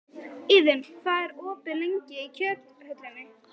Iðunn, hvað er opið lengi í Kjöthöllinni?